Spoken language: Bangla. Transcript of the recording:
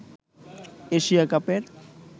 এশিয়া কাপের